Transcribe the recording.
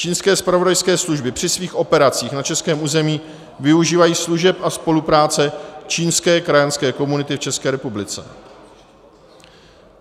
Čínské zpravodajské služby při svých operacích na českém území využívají služeb a spolupráce čínské krajanské komunity v České republice.